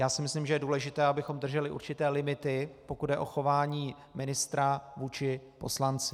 Já si myslím, že je důležité, abychom drželi určité limity, pokud jde o chování ministra vůči poslanci.